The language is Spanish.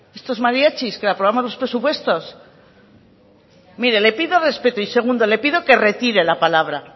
estos mariachis que le aprobamos los presupuestos mire le pido respeto y segundo le pido que retire la palabra